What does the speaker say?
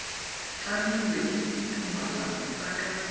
tlamilwe ke ditumalano tsa ka